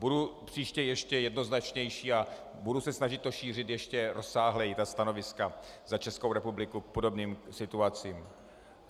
Budu příště ještě jednoznačnější a budu se snažit to šířit ještě rozsáhleji - stanoviska za Českou republiku k podobným situacím.